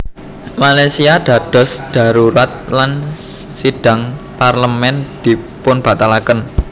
Malaysia dados dharurat lan sidhang Parlemén dipunbatalaken